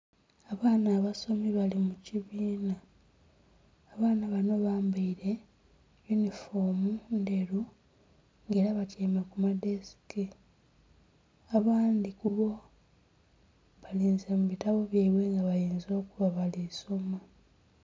Abaana abasomi bali mu kibiina. Abaana bano bambaire yunifoomu nderu era nga batiame ku madeseke. Abandi kubo balinze mu bitabo byaibwe bayinza okuba balisoma